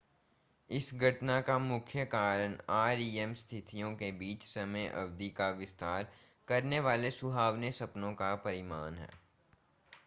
इस घटना का मुख्य कारण rem स्थितियों के बीच समय अवधि का विस्तार करने वाले सुहावने सपनों का परिणाम है